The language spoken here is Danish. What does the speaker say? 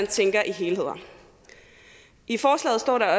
tænke i helheder i forslaget står der